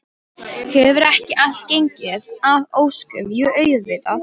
Hefur ekki allt gengið að óskum, jú auðvitað.